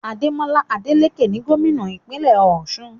Ademola Adeleke ni gómìnà ìpínlẹ̀ Ọ̀ṣun